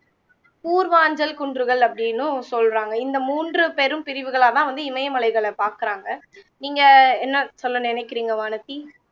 கூர்வாஞ்சல் குன்றுகள் அப்படின்னும் சொல்லுறாங்க இந்த மூன்று பெரும்பிரிவுகளாதான் இமயமலைகளை பாக்குறாங்க நீங்க என்ன சொல்ல நினைக்கிறிங்க வானதி